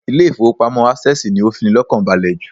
Ilé ìfowópamọ́ Access ni ó fini lọ́kàn balè jùlọ